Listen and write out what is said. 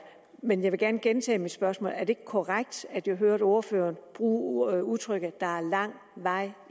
men jeg vil gerne gentage mit spørgsmål er det ikke korrekt at jeg hørte ordføreren bruge udtrykket at der er lang vej